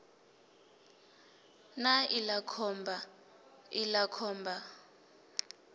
na iḽa khomba iḽa khomba